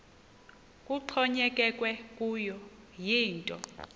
kuxhonyekekwe kuyo yinto